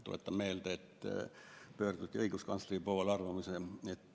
Tuletan meelde, et õiguskantsleri poole pöörduti arvamuse saamiseks.